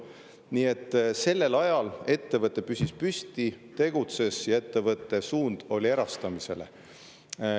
Nii et sellel ajal püsis ettevõte püsti, tegutses ja ettevõte suundus erastamisele.